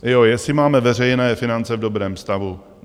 Jo, jestli máme veřejné finance v dobrém stavu.